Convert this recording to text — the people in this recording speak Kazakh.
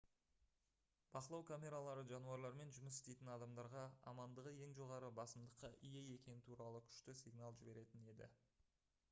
бақылау камералары жануарлармен жұмыс істейтін адамдарға амандығы ең жоғары басымдыққа ие екені туралы күшті сигнал жіберетін еді